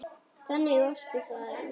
Þannig orti faðir minn.